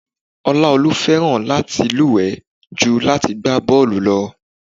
Oláolúwa fẹ́ràn láti luwe ju láti gbá bọ́ọlù lọ.